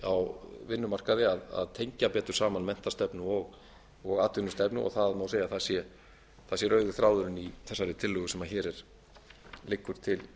á vinnumarkaði að tengja betur saman menntastefnu og atvinnustefnu og það má segja að það sé rauði þráðurinn í þessari tillögu sem hér liggur til